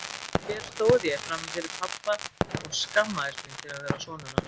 Og hér stóð ég frammi fyrir pabba og skammaðist mín fyrir að vera sonur hans.